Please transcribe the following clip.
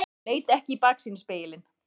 Hann leit ekki í baksýnisspegilinn.